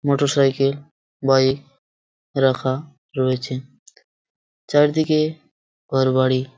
Motorcycle bike রাখা রয়েছে চারিদিকে ঘরবাড়ি।